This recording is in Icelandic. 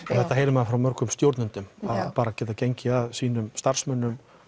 auðvitað heyrir maður frá mörgum stjórnendum bara að geta gengið að sínum starfsmönnum